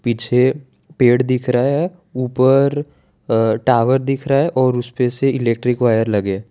पीछे पेड़ दिख रहा है ऊपर अ टावर दिख रहा है और उसपे से इलेक्ट्रिक वायर लगे है।